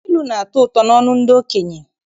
Ilu na-atọ ụtọ n'ọnụ ndị okenye.